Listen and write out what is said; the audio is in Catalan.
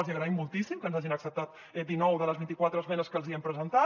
els hi agraïm moltíssim que ens hagin acceptat dinou de les vint i quatre esmenes que els hi hem presentat